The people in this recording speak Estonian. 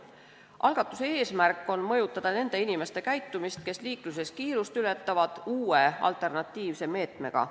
Algatuse eesmärk on mõjutada nende inimeste käitumist, kes liikluses kiirust ületavad, uue, alternatiivse meetmega.